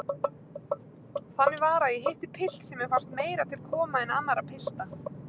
Þannig var að ég hitti pilt sem mér fannst meira til koma en annarra pilta.